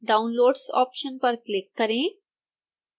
downloads option पर click करें